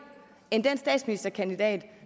end det den statsministerkandidat